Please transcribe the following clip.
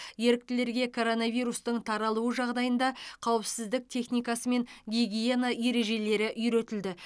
еріктілерге коронавирустың таралуы жағдайында қауіпсіздік техникасы мен гигиена ережелері үйретілді